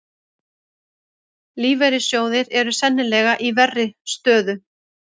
Lífeyrissjóðir eru sennilega í verri stöðu